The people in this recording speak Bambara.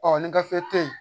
ni gafe te ye